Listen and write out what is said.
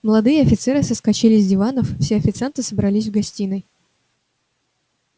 молодые офицеры соскочили с диванов все официанты собрались в гостиной